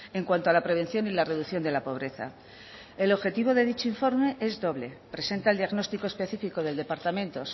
en cuanto a la prevención y la reducción de la pobreza el objetivo de dicho informe es doble presenta el diagnóstico específico del departamento